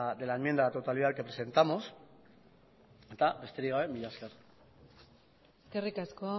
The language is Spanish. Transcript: de la enmienda a la totalidad que presentamos eta besterik gabe mila esker eskerrik asko